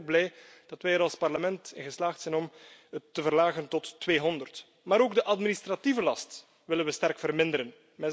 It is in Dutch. Daarom ben ik blij dat wij er als Parlement in geslaagd zijn het te verlagen tot 200. Maar ook de administratieve last willen we sterk verminderen.